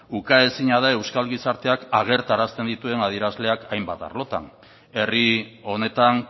ukaezina da euskal gizarteak agertarazten dituen adierazleak hainbat arlotan herri honetan